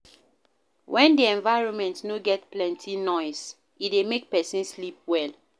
When di environment no get plenty nose, e dey make person sleep well